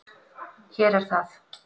Hér er það.